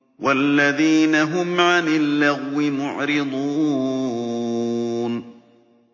وَالَّذِينَ هُمْ عَنِ اللَّغْوِ مُعْرِضُونَ